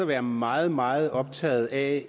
være meget meget optaget af